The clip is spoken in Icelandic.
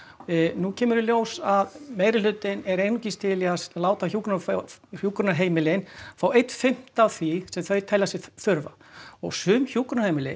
nú kemur í ljós að meirihlutinn er einungis til í að láta hjúkrunarheimilin hjúkrunarheimilin fá einn fimmta af því sem þau telja sig þurfa og sum hjúkrunarheimili